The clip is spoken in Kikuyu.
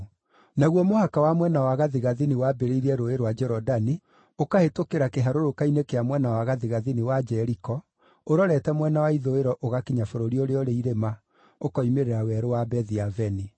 Naguo mũhaka wa mwena wa gathigathini waambĩrĩirie Rũũĩ rwa Jorodani, ũkahĩtũkĩra kĩharũrũka-inĩ kĩa mwena wa gathigathini wa Jeriko, ũrorete mwena wa ithũĩro ũgakinya bũrũri ũrĩa ũrĩ irĩma, ũkoimĩrĩra werũ wa Bethi-Aveni.